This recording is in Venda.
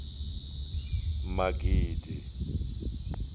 magidi